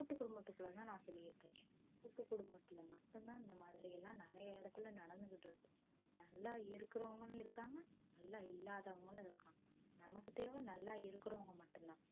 கூட்டு குடும்பத்துக்குள்ள தான் நான் சொல்லிட்டு இருக்கேன் கூட்டு குடும்பத்துள்ள மட்டும் தான் இந்த மாதிரில்லாம் நெறையா இடத்துல நடத்துட்ருக்கு நல்லா இருக்குறவங்களும் இருக்காங்க நல்லா இல்லாதவங்களும் இருக்காங்க நமக்கு தேவை நல்லா இருக்குறவங்க மட்டும்தான்